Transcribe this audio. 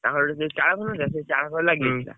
ତାଙ୍କର ଗୋଟେ ଯୋଉ ଚାଳ ଘରଟା ନୁହଁ ନା ଚାଳ ଘର ଲାଗି,